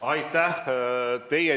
Aitäh!